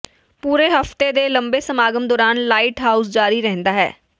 ਪੂਰੇ ਹਫ਼ਤੇ ਦੇ ਲੰਬੇ ਸਮਾਗਮ ਦੌਰਾਨ ਲਾਈਟ ਹਾਊਸ ਜਾਰੀ ਰਹਿੰਦਾ ਹੈ